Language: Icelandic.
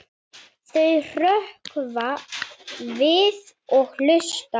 Þau hrökkva við og hlusta.